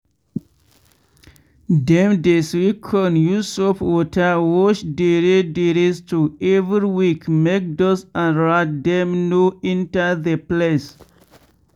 dem dey sweep con use soap water wash dere dere store every week make dust and rat dem no enter the place.